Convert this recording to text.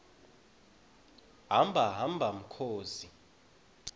hamba hamba mkhozi